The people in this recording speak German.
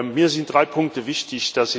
Mir sind drei Punkte wichtig.